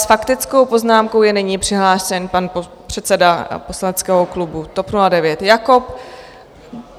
S faktickou poznámkou je nyní přihlášen pan předseda poslaneckého klubu TOP 09 Jakob.